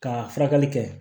Ka furakɛli kɛ